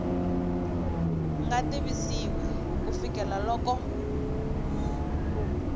nga tivisiwi ku fikela loko